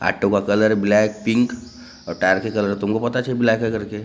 Auto का colour black pink और tyre का कलर तुमको पता कैसे ब्लैक है करके।